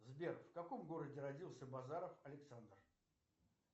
сбер в каком городе родился базаров александр